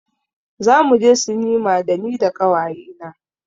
Zamu je sinima da ni da ƙawaye na.